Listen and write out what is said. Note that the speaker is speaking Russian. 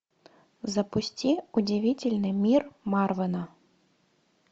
запусти удивительный мир марвена